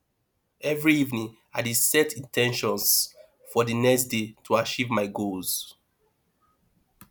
every evening i dey set in ten tions for the next day to achieve my goals